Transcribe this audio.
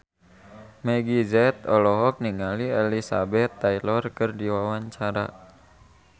Meggie Z olohok ningali Elizabeth Taylor keur diwawancara